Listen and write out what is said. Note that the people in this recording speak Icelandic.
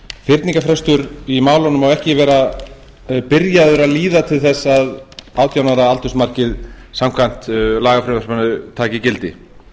fyrningarfrestur í málunum má ekki vera byrjaður að líða til þess að átján ára aldursmarkið samkvæmt lagafrumvarpinu taki gildi